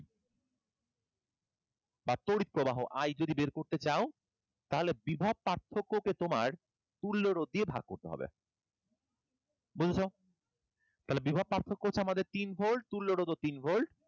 বা তড়িৎ প্রবাহ I যদি বের করতে চাও তাহলে বিভব পার্থক্যকে তোমার তুল্যরোধ দিয়ে ভাগ্ করতে হবে। বুঝেছ? তাহলে বিভব পার্থক্য হচ্ছে আমাদের তিন volt, তুল্যরোধ ও তিন volt তাহলে,